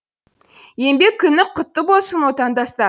еңбек күні құтты болсын отандастар